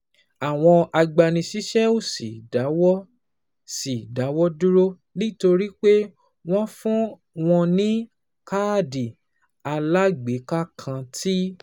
Àwọn agbanisíṣẹ́ ò sì dáwọ́ sì dáwọ́ dúró, nítorí pé wọ́n fún wọn ní káàdì alágbèéká kan tí